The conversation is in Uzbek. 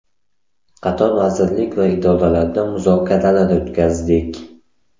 Qator vazirlik va idoralarda muzokaralar o‘tkazdik.